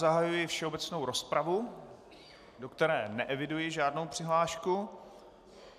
Zahajuji všeobecnou rozpravu, do které neeviduji žádnou přihlášku.